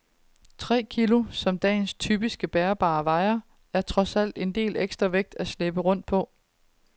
Tre kilo, som dagens typiske bærbare vejer, er trods alt en del ekstra vægt at slæbe rundt på.